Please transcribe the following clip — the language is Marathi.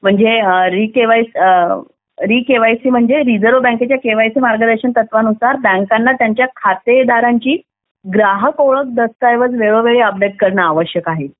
म्हणजे री केवायसी री केवायसी म्हणजे रिझर्व बँकेच्या केवायसी मार्गदर्शन च्या तत्त्वानुसार बँकांना त्यांच्या खातेदारांची ग्राहक ओळख दस्ताव्याचे वेळोवेळी अपडेट करणे गरजेचे आहे